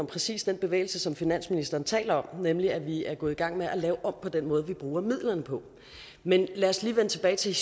præcis den bevægelse som finansministeren taler om nemlig at vi er gået i gang med at lave om på den måde vi bruger midlerne på men lad os lige vende tilbage til